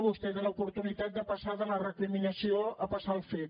vostè té l’oportunitat de passar de la recriminació al fet